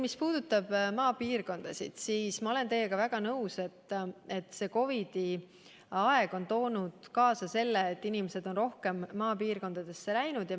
Mis puudutab maapiirkondasid, siis ma olen teiega väga nõus, et COVID-i aeg on toonud kaasa selle, et inimesed on rohkem maapiirkondadesse läinud.